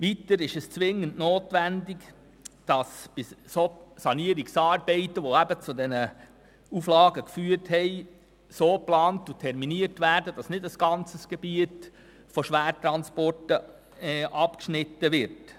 Weiter ist es zwingend notwendig, dass die Sanierungsarbeiten, die zu diesen Auflagen geführt haben, so geplant und terminiert werden, dass nicht ein ganzes Gebiet von Schwertransporten abgeschnitten wird.